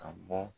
Ka bɔ